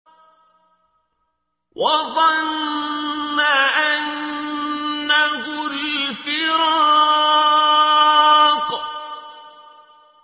وَظَنَّ أَنَّهُ الْفِرَاقُ